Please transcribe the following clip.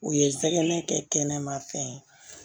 U ye jɛgɛ kɛ kɛnɛma fɛn ye